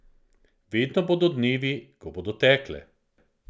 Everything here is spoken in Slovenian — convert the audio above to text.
Vedno bodo dnevi, ko bodo tekle.